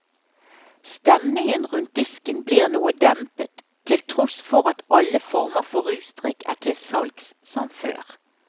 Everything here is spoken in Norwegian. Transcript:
Stemningen rundt disken blir noe dempet, til tross for at alle former for rusdrikk er til salgs som før.